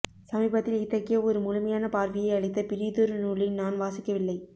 சமீபத்தில் இத்தகைய ஒரு முழுமையான பார்வையை அளித்த பிறிதொரு நூலை நான் வாசிக்கவில்லை